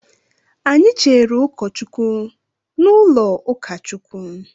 Anyị Cheere ụkọ Chukwu n'ụlọ ukachukwu.